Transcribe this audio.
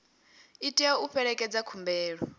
i tea u fhelekedza khumbelo